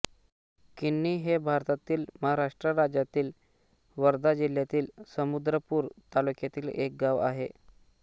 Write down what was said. किन्ही हे भारतातील महाराष्ट्र राज्यातील वर्धा जिल्ह्यातील समुद्रपूर तालुक्यातील एक गाव आहे